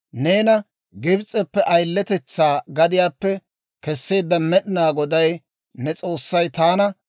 «Neena Gibs'eppe ayiletetsaa gadiyaappe keseedda Med'inaa Goday ne S'oossay taana.